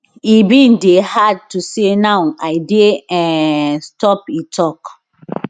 e bin dey hard to say now i dey um stop e tok